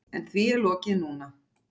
En því er lokið núna.